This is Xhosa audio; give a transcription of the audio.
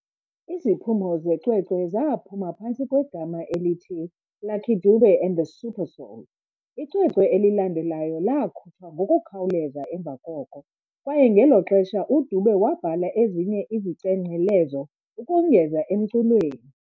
Iziphumo zecwecwe zaphuma phantsi kwegama elithi "Lucky Dube and the Supersoul". Icwecwe elilandelayo laakhutshwa ngokukhawuleza emva koko, kwaye ngelo xesha uDube wabhala ezinye izicengcelezo ukongeza emculweni.